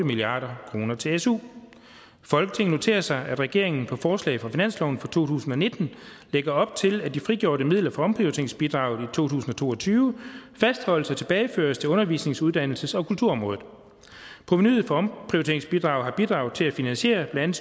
milliard kroner til su folketinget noterer sig at regeringen i forslag til finansloven for to tusind og nitten lægger op til at de frigjorte midler fra omprioriteringsbidraget tusind og to og tyve fastholdes og tilbageføres til undervisnings uddannelses og kulturområdet provenuet fra omprioriteringsbidraget har bidraget til at finansiere blandt